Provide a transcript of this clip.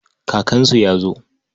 Kakansu ya zo.